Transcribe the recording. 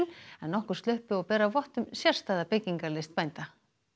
en nokkur sluppu og bera vott um sérstæða byggingarlist bænda